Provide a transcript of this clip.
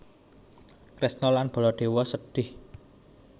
Kresna lan Baladewa sedhih